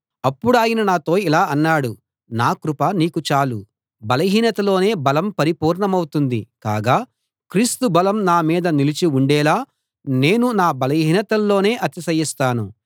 అప్పుడాయన నాతో ఇలా అన్నాడు నా కృప నీకు చాలు బలహీనతలోనే బలం పరిపూర్ణమవుతుంది కాగా క్రీస్తు బలం నా మీద నిలిచి ఉండేలా నేను నా బలహీనతల్లోనే అతిశయిస్తాను